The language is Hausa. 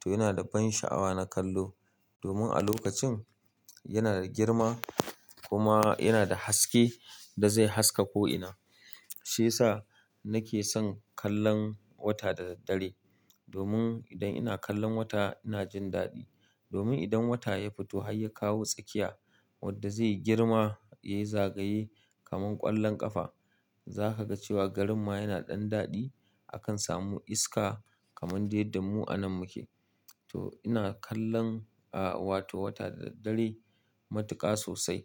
to yana da ban sha'awa na kallo. Domin a lokacin yana da girma kuma yana da haske da zai haska ko ina. Sai sa nake son kallon wata da daddare. Domin idan ina kallon wata ina jin daɗi. Domin idan wata ya fito har ya kawo tsakiya wadda zai yi girma ya yi zagaye kamar ƙwallon ƙafa, za ka ga cewa garin ma ya na ɗan daɗi. Akan samu iska kamar duk yanda mu a nan mu ke. To ina kallon aa wato wata da da. Dare matuƙa sosai.